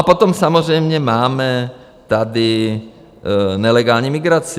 A potom samozřejmě máme tady nelegální migraci.